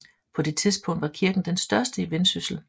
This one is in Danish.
På det tidspunkt var kirken den største i Vendsyssel